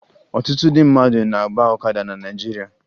Ọtụtụ ndị mmadụ na-agba ọkada na Naịjirịa